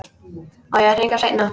Á ég að hringja seinna?